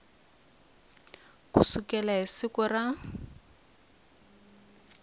ku sukela hi siku ra